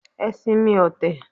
Ẹ sinmi ọ̀tẹ̀